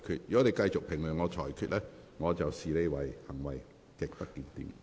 如果你繼續評論我的裁決，我會視之為行為極不檢點。